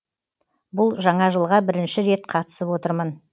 бұл жаңа жылға бірінші рет қатысып отырмын